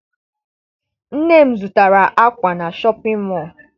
Nne m zụtara akwa na Shọpịn mọọ.